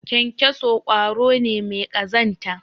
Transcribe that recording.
kyankyaso kwaro ne mai kazanta